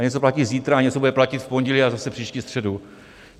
A něco platí zítra a něco bude platit v pondělí a zase příští středu.